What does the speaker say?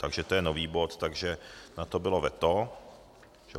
Takže to je nový bod, takže na to bylo veto.